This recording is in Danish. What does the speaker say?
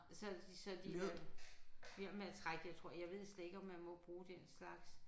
Så så de øh bliver med at trække jeg tror jeg ved slet ikke om man må bruge den slags